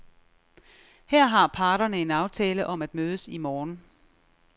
Her har parterne en aftale om at mødes i morgen.